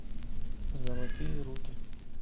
золотые руки